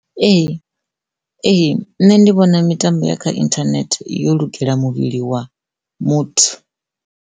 Ee ee nne ndi vhona mitambo ya kha internet yo lugela muvhili wa muthu.